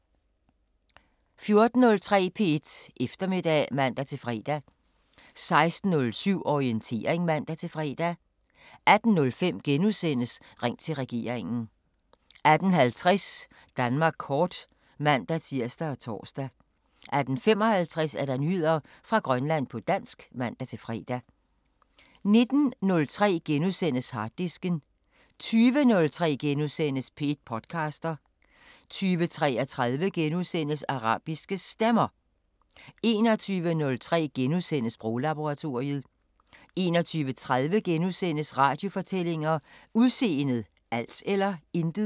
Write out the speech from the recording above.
14:03: P1 Eftermiddag (man-fre) 16:07: Orientering (man-fre) 18:05: Ring til regeringen * 18:50: Danmark kort (man-tir og tor) 18:55: Nyheder fra Grønland på dansk (man-fre) 19:03: Harddisken * 20:03: P1 podcaster * 20:33: Arabiske Stemmer * 21:03: Sproglaboratoriet * 21:30: Radiofortællinger: Udseendet – alt eller intet? *